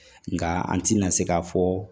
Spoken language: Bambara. Nka an tɛna se k'a fɔ